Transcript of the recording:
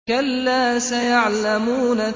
كَلَّا سَيَعْلَمُونَ